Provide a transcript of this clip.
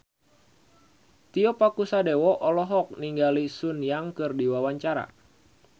Tio Pakusadewo olohok ningali Sun Yang keur diwawancara